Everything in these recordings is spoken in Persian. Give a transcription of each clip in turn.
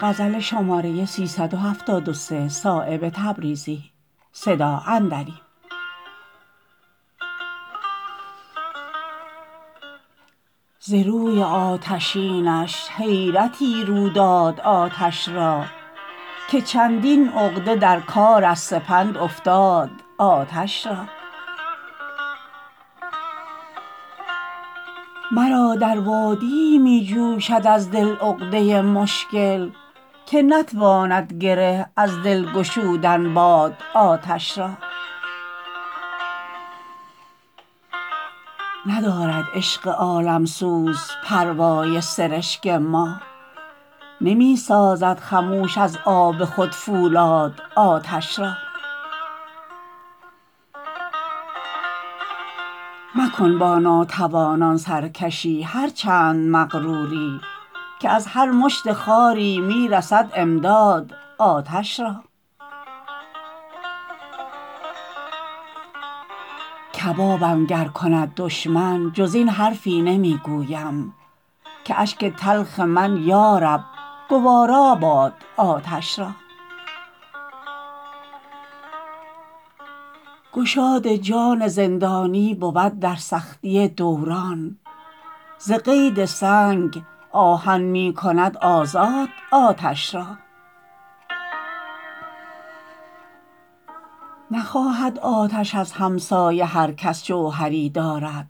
ز روی آتشینش حیرتی رو داد آتش را که چندین عقده در کار از سپند افتاد آتش را مرا در وادیی می جوشد از دل عقده مشکل که نتواند گره از دل گشودن باد آتش را ندارد عشق عالمسوز پروای سرشک ما نمی سازد خموش از آب خود فولاد آتش را مکن با ناتوانان سرکشی هر چند مغروری که از هر مشت خاری می رسد امداد آتش را کبابم گر کند دشمن جز این حرفی نمی گویم که اشک تلخ من یارب گواراباد آتش را گشاد جان زندانی بود در سختی دوران ز قید سنگ آهن می کند آزاد آتش را نخواهد آتش از همسایه هر کس جوهری دارد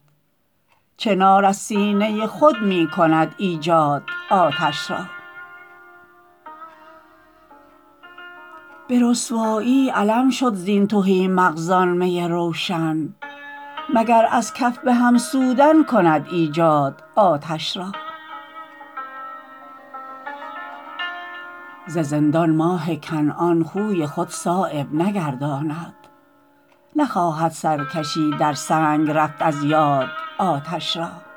چنار از سینه خود می کند ایجاد آتش را به رسوایی علم شد زین تهی مغزان می روشن مگر از کف به هم سودن کند ایجاد آتش را ز زندان ماه کنعان خوی خود صایب نگرداند نخواهد سرکشی در سنگ رفت از یاد آتش را